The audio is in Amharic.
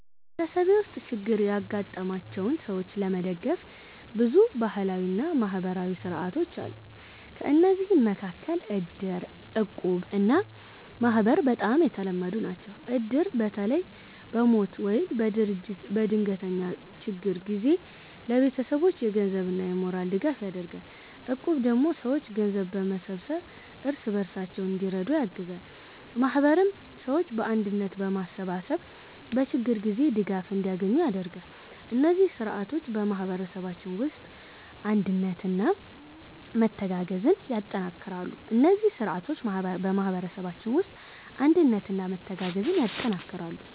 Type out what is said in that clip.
በማህበረሰቤ ውስጥ ችግር ያጋጠማቸውን ሰዎች ለመደገፍ ብዙ ባህላዊ እና ማህበራዊ ሥርዓቶች አሉ። ከእነዚህ መካከል እድር፣ እቁብ እና ማህበር በጣም የተለመዱ ናቸው። እድር በተለይ በሞት ወይም በድንገተኛ ችግር ጊዜ ለቤተሰቦች የገንዘብና የሞራል ድጋፍ ያደርጋል። እቁብ ደግሞ ሰዎች ገንዘብ በመሰብሰብ እርስ በርሳቸው እንዲረዱ ያግዛል። ማህበርም ሰዎችን በአንድነት በማሰባሰብ በችግር ጊዜ ድጋፍ እንዲያገኙ ያደርጋል። እነዚህ ሥርዓቶች በማህበረሰባችን ውስጥ አንድነትና መተጋገዝን ያጠናክራሉ።